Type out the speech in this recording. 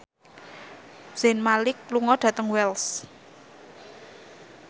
Zayn Malik lunga dhateng Wells